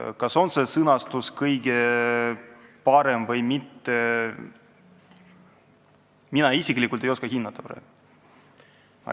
Kas see sõnastus on kõige parem või mitte, seda mina praegu isiklikult hinnata ei oska.